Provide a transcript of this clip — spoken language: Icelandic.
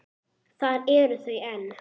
Þar eru þau enn.